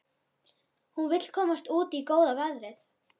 Hún vill komast út í góða veðrið.